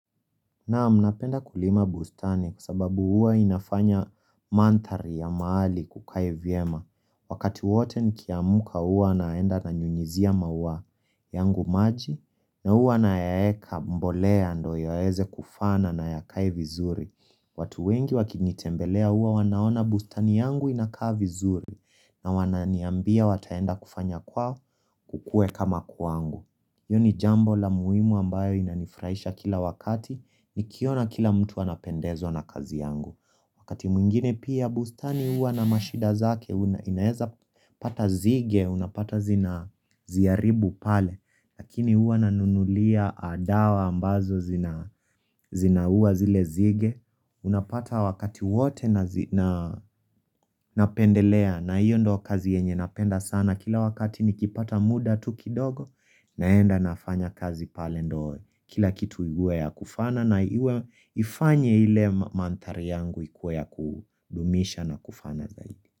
Naam, napenda kulima bustani kwa sababu huwa inafanya mandhari ya mahali kukae vyema. Wakati wote nikiamka huwa naenda nanyunyizia maua yangu maji na huwa nayaeka mbolea ndo yaweze kufana na yakae vizuri. Watu wengi wakinitembelea huwa wanaona bustani yangu inakaa vizuri na wananiambia wataenda kufanya kwao kukuwe kama kwangu. Hiyo ni jambo la muhimu ambayo inanifurahisha kila wakati nikiona kila mtu anapendezwa na kazi yangu. Wakati mwingine pia bustani huwa na mashida zake inaeza pata zige, unapata zina ziaribu pale. Lakini huwa nanunulia dawa ambazo zinauwa zile nzige. Unapata wakati wote napendelea na hiyo ndo kazi yenye napenda sana. Na kila wakati nikipata muda tu kidogo naenda nafanya kazi pale ndo. Kila kitu iwe ya kufana na ifanye ile mandhari yangu ikuwe ya kudumisha na kufana.